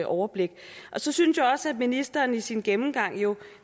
overblik så synes jeg også at ministeren i sin gennemgang jo